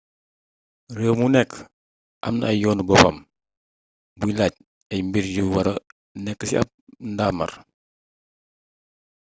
réew mu nekk am na yoonu boppam buy laaj ay mbir yu wara nekk ci ab ndaamaar